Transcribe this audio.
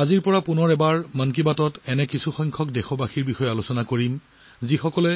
আজিৰ পৰাই আমি 'মন কী বাত'ত দেশবাসীৰ বিষয়ে আলোচনা কৰিম যিসকলে